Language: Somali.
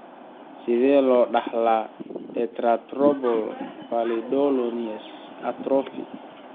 Sidee loo dhaxlaa dentatorubral pallidoluysian atrophy (DRPLA)?